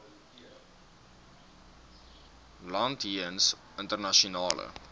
land jeens internasionale